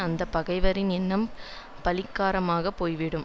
அந்த பகைவரின் எண்ணம் பலிக்காறம் ஆக போய்விடும்